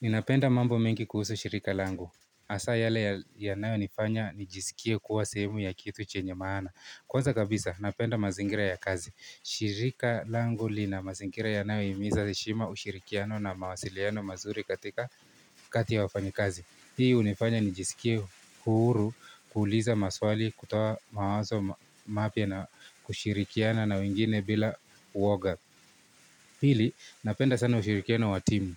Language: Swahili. Ninapenda mambo mingi kuhusu shirika langu. Hasaa yale ya nao nifanya nijisikie kuwa sehemu ya kitu chenye maana. Kwanza kabisa napenda mazingira ya kazi. Shirika langu li na mazingira yanayo himiza heshima ushirikiano na mawasiliano mazuri katika kati ya wafani kazi. Hii unifanya ni jisikie huuru, kuuliza maswali, kutawa mawazo mapia na kushirikiana na wengine bila uoga. Pili, napenda sana ushirikiano wa timu.